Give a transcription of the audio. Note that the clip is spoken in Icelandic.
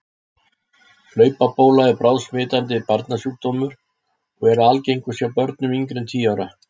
Hlaupabóla er bráðsmitandi barnasjúkdómur og er algengust hjá börnum yngri en tíu ára.